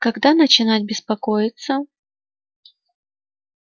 когда начинать беспокоиться